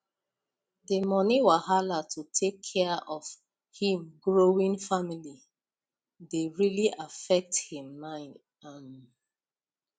the money wahala to take care of him growing family dey really affect him mind um